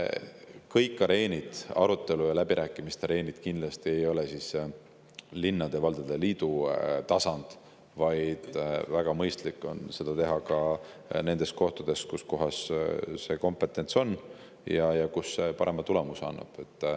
Kõik arutelude ja läbirääkimiste areenid ei ole kindlasti linnade ja valdade liidu tasandil, vaid väga mõistlik on neid teha ka nendes kohtades, kus see kompetents on ja kus see parema tulemuse annab.